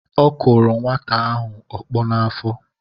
Ọ kụrụ nwata ahụ ọkpọ n’afọ